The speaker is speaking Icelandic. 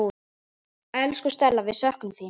Elsku Stella, við söknum þín.